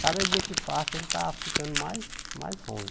Cada dia que passa ele está ficando mais mais ruim.